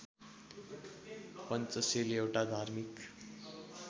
पञ्चशील एउटा धार्मिक